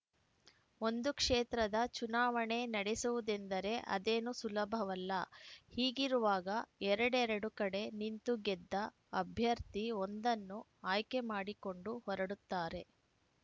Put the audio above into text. ಒಂದು ಕ್ಷೇತ್ರದ ಚುನಾವಣೆ ನಡೆಸುವುದೆಂದರೆ ಅದೇನು ಸುಲಭವಲ್ಲ ಹೀಗಿರುವಾಗ ಎರಡೆರಡು ಕಡೆ ನಿಂತು ಗೆದ್ದ ಅಭ್ಯರ್ಥಿ ಒಂದನ್ನು ಆಯ್ಕೆ ಮಾಡಿಕೊಂಡು ಹೊರಡುತ್ತಾರೆ